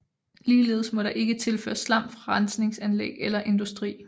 Ligeledes må der ikke tilføres slam fra rensningsanlæg eller industri